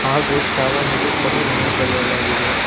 ಹಾಗು ಚಾವಣಿಗೆ ಕರಿ ಬಣ್ಣ ಬಲೆಯಲಾಗಿದೆ.